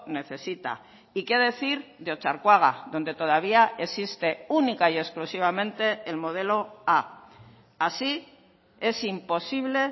necesita y qué decir de otxarkoaga donde todavía existe única y exclusivamente el modelo a así es imposible